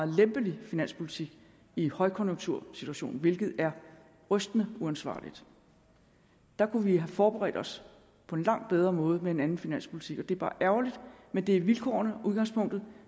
lempelig finanspolitik i en højkonjunktursituation hvilket er rystende uansvarligt der kunne vi have forberedt os på en langt bedre måde med en anden finanspolitik det er bare ærgerligt men det er vilkårene og udgangspunktet